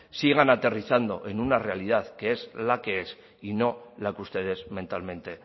sigan aterrizando en una realidad que es la que es y no la que ustedes mentalmente